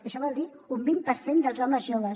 això vol dir un vint per cent dels homes joves